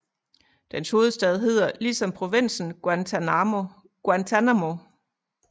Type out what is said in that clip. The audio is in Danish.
Dens hovedstad hedder lige som provinsen Guantanamo